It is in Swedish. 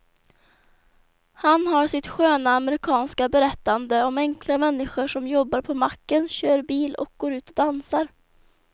Han har sitt sköna amerikanska berättande om enkla människor som jobbar på macken, kör bil och går ut och dansar.